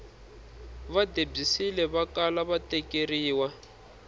va debyisile vakala va tekeriwa